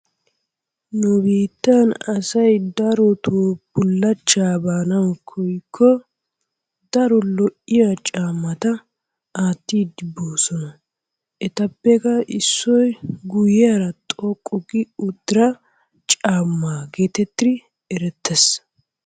Nu biittan asay darotoo bullachchaa baanawu koyikko daro lo"iya caammata aattiyddi boosona. Etappekka issoy guyeera xoqqu gi uttira caammaa geetettidi erettees.